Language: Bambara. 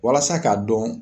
Walasa k'a dɔn